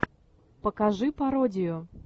покажи пародию